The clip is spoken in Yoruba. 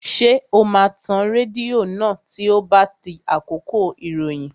Ṣé o máa tan rédíò náà tí ó bá di àkókò ìròyìn?